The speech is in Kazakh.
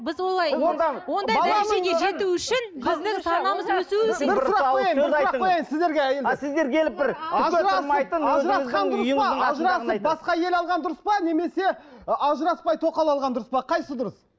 біз олай ажырасып басқа әйел алған дұрыс па немесе ы ажыраспай тоқал алған дұрыс па қайсысы дұрыс